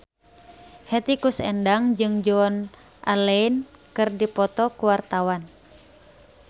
Hetty Koes Endang jeung Joan Allen keur dipoto ku wartawan